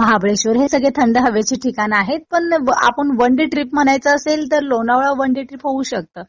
महाबळेशवर हे सगळे थंड हवेचे ठिकाण आहेत. पण आपण वन डे ट्रिप म्हणायचं असेल तर लोणावळा वन डे ट्रिप होऊ शकतं.